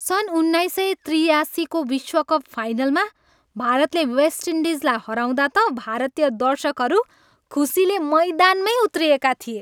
सन् उन्नाइस सय त्रियासीको विश्वकप फाइनलमा भारतले वेस्ट इन्डिजलाई हराउँदा त भारतीय दर्शकहरू खुसीले मैदानमै उत्रिएका थिए।